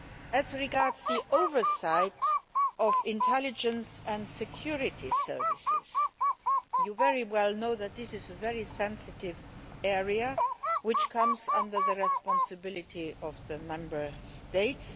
As regards the oversight of intelligence and security services, you are well aware that this is a very sensitive area which comes under the responsibility of the Member States.